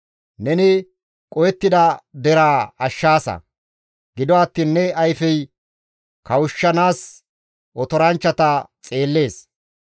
Neni qohettida deraa ashshaasa; gido attiin ne ayfey kawushshanaas otoranchchata xeellees.